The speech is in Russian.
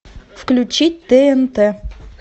включить тнт